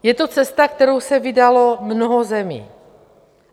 Je to cesta, kterou se vydalo mnoho zemí.